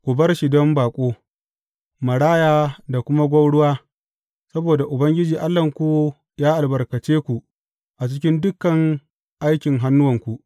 Ku bar shi don baƙo, maraya da kuma gwauruwa, saboda Ubangiji Allahnku yă albarkace ku a cikin dukan aikin hannuwanku.